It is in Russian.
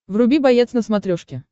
вруби боец на смотрешке